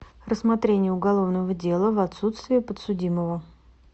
рассмотрение уголовного дела в отсутствие подсудимого